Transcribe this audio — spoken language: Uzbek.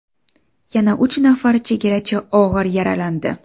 Yana uch nafar chegarachi og‘ir yaralandi.